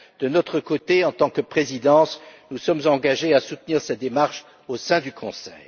De notre côté en tant que Présidence, nous sommes déterminés à soutenir cette démarche au sein du Conseil.